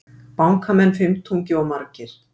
Bankamenn fimmtungi of margir